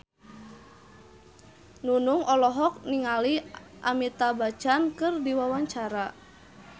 Nunung olohok ningali Amitabh Bachchan keur diwawancara